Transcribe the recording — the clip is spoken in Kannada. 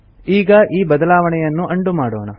ಈಗ ಈ ಬದಲಾವಣೆಯನ್ನು ಉಂಡೋ ಮಾಡೋಣ